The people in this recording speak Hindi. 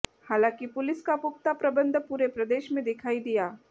हालांकि पुलिस का पुख्ता प्रबंध पूरे प्रदेश में दिखाई दिया